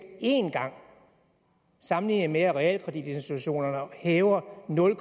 en gang sammenlignet med at realkreditinstitutterne hæver nul